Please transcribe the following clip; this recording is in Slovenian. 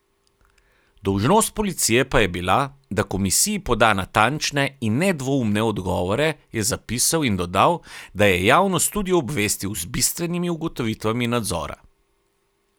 Dolžnost policije pa je bila, da komisiji poda natančne in nedvoumne odgovore, je zapisal in dodal, da je javnost tudi obvestil z bistvenimi ugotovitvami nadzora.